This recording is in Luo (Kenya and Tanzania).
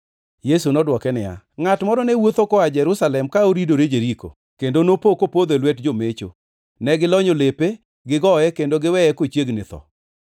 Yesu nodwoke niya, “Ngʼat moro ne wuotho koa Jerusalem ka oridore Jeriko, kendo nopo kopodho e lwet jomecho. Ne gilonyo lepe, gigoye, kendo giweye kochiegni tho.